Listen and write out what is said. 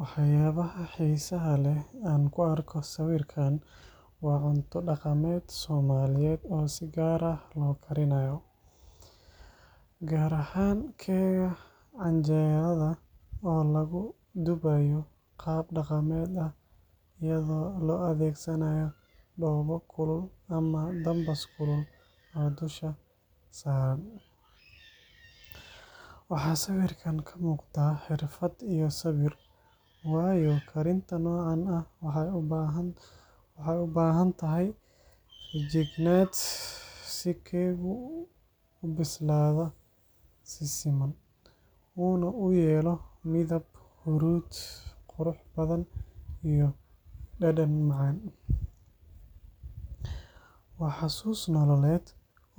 Waxyaabaha xiisaha leh ee aan ku arko sawirkan waa cunto dhaqameed Soomaaliyeed oo si gaar ah loo karinayo, gaar ahaan keega canjeelada oo lagu dubayo qaab dhaqameed ah iyadoo la adeegsanayo dhoobo kulul ama dambas kulul oo dusha saaran. Waxaa sawirkan ka muuqda xirfad iyo sabir, waayo karinta noocan ah waxay u baahan tahay feejignaan si keegu u bislaado si siman, uuna u yeelo midab huruud qurux badan iyo dhadhan macaan. Waa xusuus nololeed